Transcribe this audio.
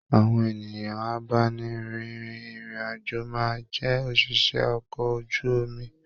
Àwọn ènìyàn abáni rìn irin-ajo máa jẹ oṣiṣẹ okọ̀ ojú omi.